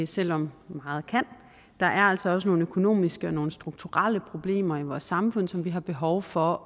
selv om meget kan der er altså også nogle økonomiske og nogle strukturelle problemer i vores samfund som vi har behov for